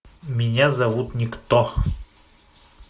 меня зовут никто